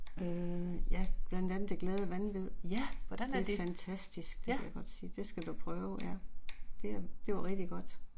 Ja. Hvordan er det? Ja